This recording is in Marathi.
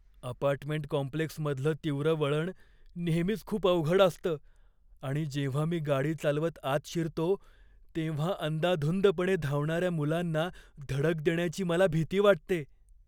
अपार्टमेंट कॉम्प्लेक्समधलं तीव्र वळण नेहमीच खूप अवघड असतं आणि जेव्हा मी गाडी चालवत आत शिरतो तेव्हा अंदाधुंदपणे धावणाऱ्या मुलांना धडक देण्याची मला भीती वाटते.